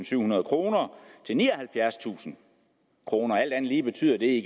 syvhundrede kroner til nioghalvfjerdstusind kroner alt andet lige betyder det